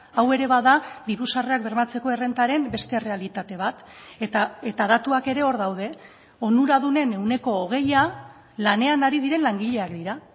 hau ere bada diru sarrerak bermatzeko errentaren beste errealitate bat eta datuak ere hor daude onuradunen ehuneko hogeia lanean ari diren langileak dira